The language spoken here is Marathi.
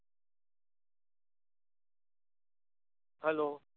hello